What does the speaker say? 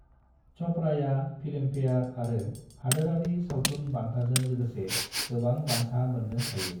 च'पड़ाया Filmfare आरो हादोरारि सावथुन बान्थाजों लोगोसे गोबां बान्था मोननो हायो।